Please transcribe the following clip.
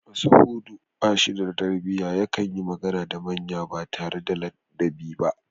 Mashahudu ba shi da tarbiyya yakan yi magana da manya ba tare da ladabi ba